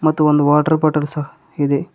ಮತ್ತು ಒಂದು water bottle ಸಹ ಇದೆ.